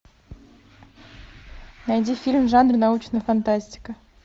найди фильм в жанре научная фантастика